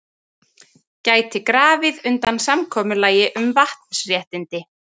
Gæti grafið undan samkomulagi um vatnsréttindi